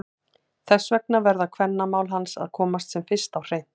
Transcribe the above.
Þess vegna verða kvennamál hans að komast sem fyrst á hreint!